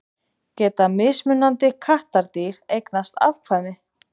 Geta mismunandi kattardýr eignast afkvæmi?